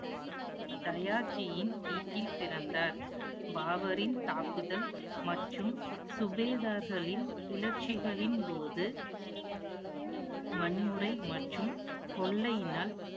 தயாச்சியின் வீட்டில் பிறந்தார். பாபரின் தாக்குதல் மற்றும் சுவேதார்களின் கிளர்ச்சிகளின் போது வன்முறை மற்றும் கொள்ளையினால்